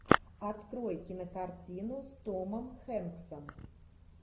открой кинокартину с томом хэнксом